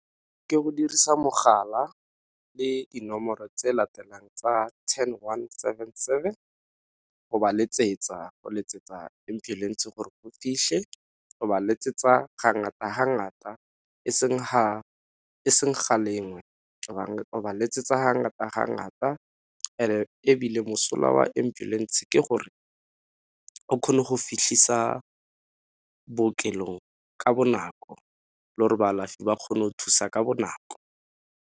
Ke go dirisa mogala le dinomoro tse di latelang tsa ten one seven seven go ba letsetsa go letsetsa ambulance gore go ba letsetsa ga ngata ga ngata e seng ha, e seng ga lengwe. O ba letsetsa ga ngata ga ngata and ebile mosola wa ambulance ke gore o kgone go fitlhisa bookelong ka bonako le gore baalafi ba kgone go thusa ka bonako.